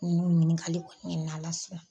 N y'u ɲininkali kɔni kɛ ni Ala sɔnna.